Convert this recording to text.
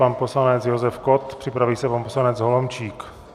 Pan poslanec Josef Kott, připraví se pan poslanec Holomčík.